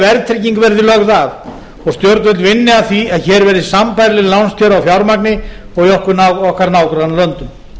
verðtrygging verði lögð af og stjórnvöld vinni að því að hér verði sambærileg lánskjör á fjármagni og í okkar nágrannalöndum